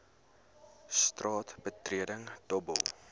straat betreding dobbel